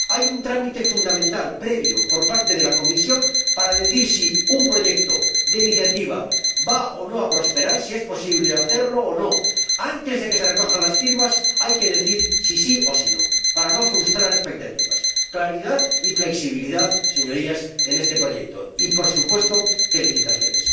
Hay un trámite fundamental, previo, por parte de la Comisión para decir si un proyecto de iniciativa va a prosperar o no, si es posible hacerlo o no. Antes de que se recojan las firmas hay que decir si sí o si no, para no frustrar expectativas claridad y flexibilidad, Señorías, en este proyecto y, por supuesto, felicitaciones.